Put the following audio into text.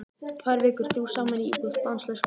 Tvær vikur, þrjú saman í íbúð, stanslaus gleði.